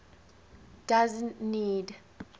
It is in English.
doesn t need